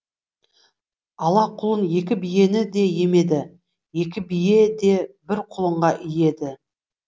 ала кұлын екі биені де емеді екі бие де бір құлынға иеді